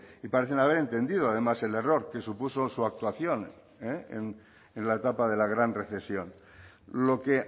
parecen haber entendido además el error que supuso su actuación en la etapa de la gran recesión lo que